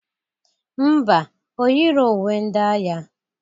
Ḿbà, o yiro uwe ndị agha.